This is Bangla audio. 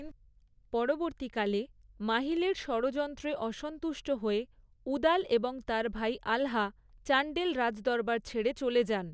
পরবর্তীকালে, মাহিলের ষড়যন্ত্রে অসন্তুষ্ট হয়ে উদাল এবং তার ভাই আলহা চাণ্ডেল রাজদরবার ছেড়ে চলে যান।